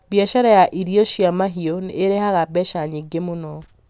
biacara ya irio cia mahiũ nĩ ĩrehaga mbeca nyingĩ mũno